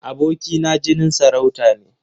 Aboki na jinin sarauta ne.